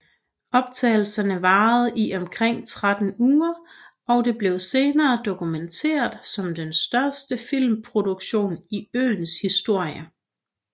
Optagelserne varede i omkring 13 uger og det blev senere dokumenteret som den største filmproduktion i øens historie